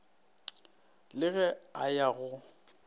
le ge a ya go